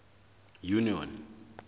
union